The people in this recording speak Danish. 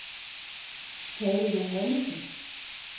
Palle Johannesen